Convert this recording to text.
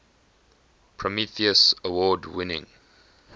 prometheus award winning